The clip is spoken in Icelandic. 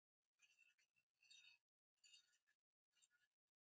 Teppið flott.